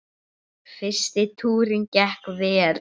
Fyrsti túrinn gekk vel.